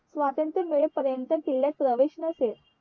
स्वत्रंत मिळे पर्यंत किल्यात प्रवेश नसेल